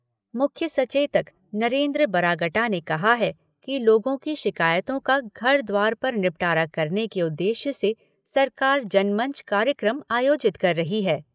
मुख्य सचेतक नरेन्द्र बरागटा ने कहा है कि लोगों की शिकायतों का घर द्वार पर निपटारा करने के उद्देश्य से सरकार जनमंच कार्यक्रम आयोजित कर रही है।